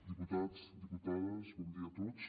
diputats diputades bon dia a tots